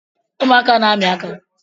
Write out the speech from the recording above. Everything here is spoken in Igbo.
Ụmụaka na-ami aka